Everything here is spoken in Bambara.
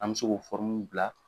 An me se k'o bila